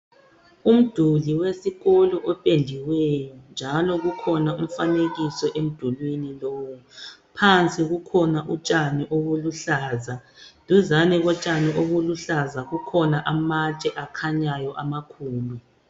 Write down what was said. Umduli wesikolo opendiweyo njalo kukhona umfanekiso emdulini lowu. Phansi kukhona utshani obuluhlaza duzane kotshani obuluhlaza kukhona amatshe akhanyayo amakhulu.